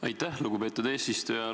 Aitäh, lugupeetud eesistuja!